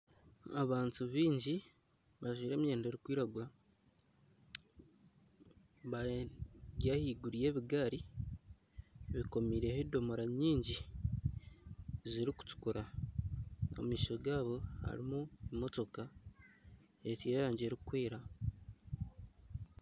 Abantu baingi bajwaire emyenda erikwiragura bari ahaiguru y'ebigaari bekomeireho edomora nyingi zirikutukura omu maisho gaabo harimu emotoka y'erangi erikwera